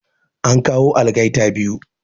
An kawo algaita biyu